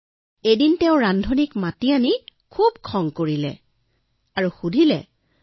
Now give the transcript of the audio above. আৰু এদিনাখন ৰজাই ৰান্ধনিক মাতি আনি খুব গালি দিলে